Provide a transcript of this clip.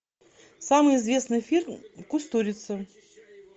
самый известный фильм кустурица